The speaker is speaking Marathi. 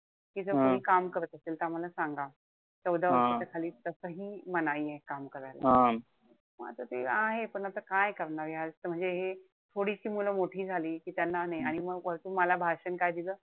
कि जर कोणी काम करत असेल त आम्हाला सांगा. चौदा वर्षाच्या खाली तसंही मनाई आहे काम करायला. म आता ते आहे पण आता काय करणार या म्हणजे हे थोडीशी मुलं मोठी झाली. कि त्यांना, आणि वरतून मला भाषण काय दिल,